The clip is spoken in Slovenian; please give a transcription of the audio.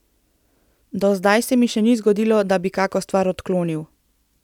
Do zdaj se mi še ni zgodilo, da bi kako stvar odklonil.